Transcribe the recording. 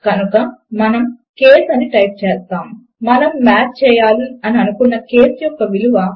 కనుక మనము కేస్ అని టైప్ చేస్తాము మనము మాచ్ చేయాలి అని అనుకున్న కేస్ యొక్క విలువ